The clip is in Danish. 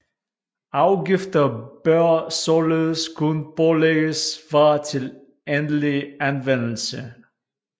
Afgifter bør således kun pålægges varer til endelig anvendelse